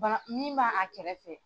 min b'a kɛrɛfɛ.